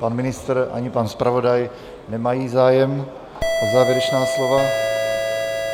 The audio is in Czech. Pan ministr ani pan zpravodaj nemají zájem o závěrečná slova.